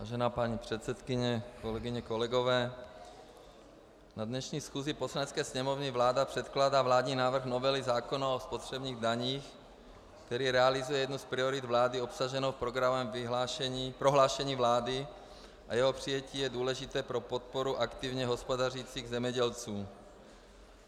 Vážená paní předsedkyně, kolegyně, kolegové, na dnešní schůzi Poslanecké sněmovny vláda předkládá vládní návrh novely zákona o spotřebních daních, který realizuje jednu z priorit vlády obsaženou v programovém prohlášení vlády, a jeho přijetí je důležité pro podporu aktivně hospodařících zemědělců.